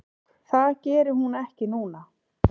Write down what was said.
Það geri hún ekki núna.